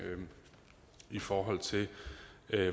i forhold til